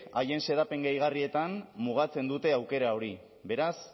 haien xedapen gehigarrietan mugatzen dute aukera hori beraz